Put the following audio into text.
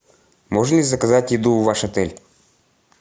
можно ли заказать еду в ваш отель